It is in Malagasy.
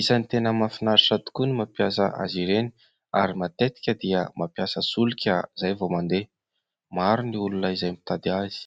Isany tena mahafinaritra tokoa ny mampiasa azy ireny ary matetika dia mampiasa solika izay vao mandeha. Maro ny olona izay mitady azy.